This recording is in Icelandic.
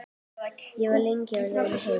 Ég var lengi á leiðinni heim.